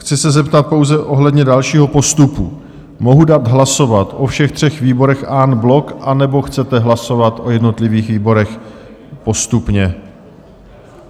Chci se zeptat pouze ohledně dalšího postupu - mohu dát hlasovat o všech třech výborech en bloc, anebo chcete hlasovat o jednotlivých výborech postupně?